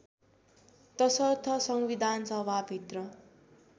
तसर्थ संविधानसभा भित्र